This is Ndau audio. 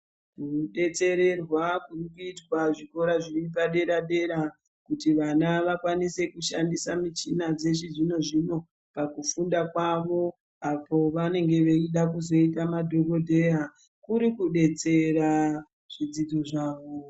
Kubetsererwa kurikuitwa zvikora zviri padera-dera, kuti vana vakwanise kushandisa muchina dzechizvino-zvino kufunda kwavo. Apo vanenge veida kuzoita madhogodheya kuri kubetsera zvidzidzo zvawo.